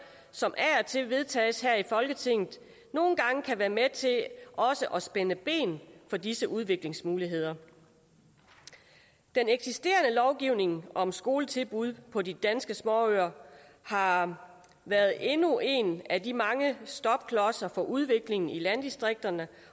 som af og til vedtages her i folketinget nogle gange kan være med til også at spænde ben for disse udviklingsmuligheder den eksisterende lovgivning om skoletilbud på de danske småøer har har været endnu en af de mange stopklodser for udviklingen i landdistrikterne